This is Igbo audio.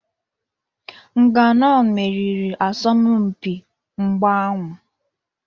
Nganou meriri asọmpi mgba ahụ.